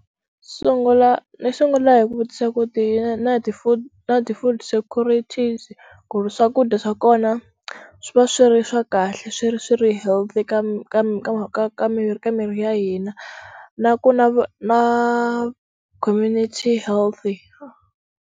Sungula ndzi sungula hi ku vutisa ku ti na ti food na ti food securities ku ri swakudya swa kona swi va swi ri swa kahle swi ri swi ri healthy ka ka ka ka ka miri ka miri ya hina na ku na na community healthy.